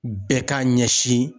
Bɛɛ k'a ɲɛsin